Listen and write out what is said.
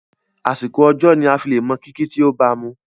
Àsìkò ọjọ́ ni aa fí le mọ kìkì tí o bamu.